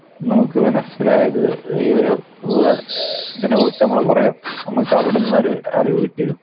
നമുക്ക് മനസ്സിലായത് ഈ ഒരു ഇതിനെ കുറിച്ച് നമ്മള് കുറെ നമുക്ക് അവിടുന്ന് ഒരു അറിവ് കിട്ടിയിരുന്നു.